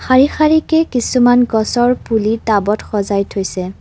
শাৰী শাৰীকে কিছুমান গছৰ পুলি টাবত সজাই থৈছে।